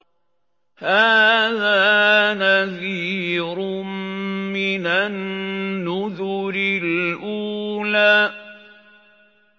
هَٰذَا نَذِيرٌ مِّنَ النُّذُرِ الْأُولَىٰ